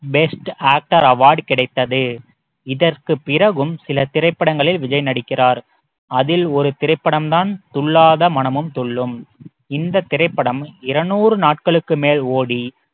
best actor award கிடைத்தது இதற்கு பிறகும் சில திரைப்படங்களில் விஜய் நடிக்கிறார் அதில் ஒரு திரைப்படம் தான் துள்ளாத மனமும் துள்ளும் இந்த திரைப்படம் இருநூறு நாட்களுக்கு மேல் ஓடி